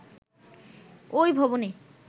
ঐ ভবনে